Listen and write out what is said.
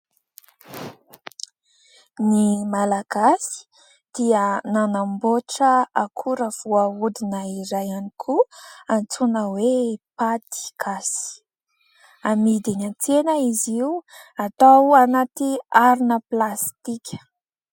Ny Malagasy dia nanamboatra akora voahodina iray ihany koa, antsoina hoe : paty gasy. Amidy eny an-tsena izy io, atao anaty harona plastika.